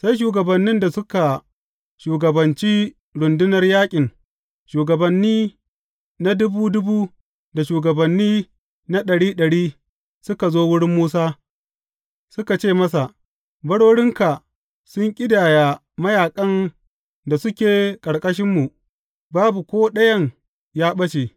Sai shugabannin da suka shugabancin rundunar yaƙin, shugabanni na dubu dubu da shugabanni na ɗari ɗari, suka zo wurin Musa suka ce masa, Barorinka sun ƙidaya mayaƙan da suke ƙarƙashinmu, babu ko ɗayan ya ɓace.